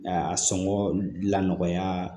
A sɔngɔ lanɔgɔya